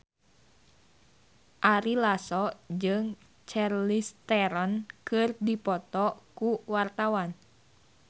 Ari Lasso jeung Charlize Theron keur dipoto ku wartawan